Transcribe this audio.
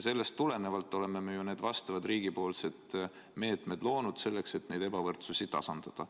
Sellest tulenevalt oleme me ju need vastavad riigipoolsed meetmed loonud, selleks et neid ebavõrdsusi tasandada.